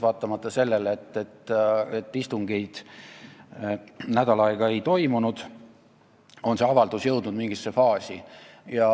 Vaatamata sellele, et istungeid nädal aega ei toimunud, on see avaldus jõudnud mingisse faasi.